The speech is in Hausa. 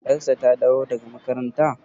yarsa ta dawo daga makaranta?